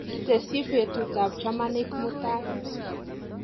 Tesyi betutap chamanik mutai.